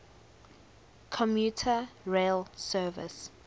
commuter rail service